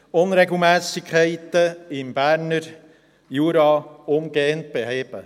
Unregelmässigkeiten im Berner Jura umgehend beheben.